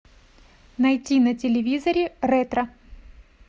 найти на телевизоре ретро